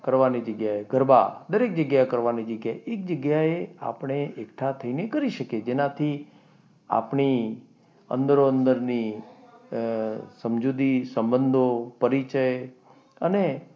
કરવાની જગ્યાએ ગરબા દરેક જગ્યાની કરવાની જગ્યાએ આપણે એકઠા થઈને કરી શકીએ, જેનાથી આપણે અંદરો અંદરની સમજૂતી, સંબંધો, પરિચય અને,